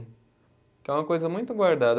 Que é uma coisa muito guardada.